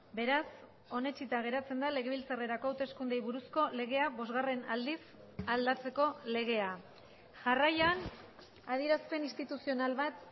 beraz onetsita geratzen da legebiltzarrerako hauteskundeei buruzko legea bosgarren aldiz aldatzeko legea jarraian adierazpen instituzional bat